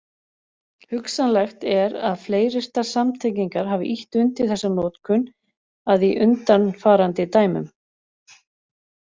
Hugsanlegt er að fleiryrtar samtengingar hafi ýtt undir þessa notkun að í undanfarandi dæmum.